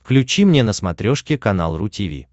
включи мне на смотрешке канал ру ти ви